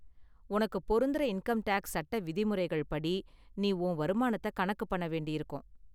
உனக்கு பொருந்துற income tax சட்ட விதிமுறைகள் படி நீ உன் வருமானத்தை கணக்கு பண்ண வேண்டியிருக்கும்.